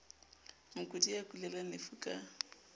mokudi ya kulelang lefu ka